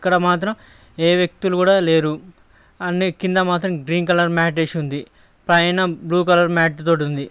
ఇక్కడ మాత్రం ఏ వ్యక్తులు కూడా లేరు అన్నీ కింద మాత్రం గ్రీన్ కలర్ మ్యాటర్ ఉంది పైన బ్లూ కలర్ మ్యాట్ తో ఉంది .